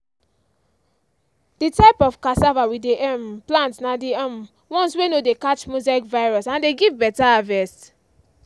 the type of cassava we dey um plant na the um ones wey no dey catch mosaic virus and dey give better harvest.